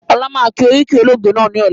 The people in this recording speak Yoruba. Ọlá máa kí oríkì olóògbé náà ni ọ̀la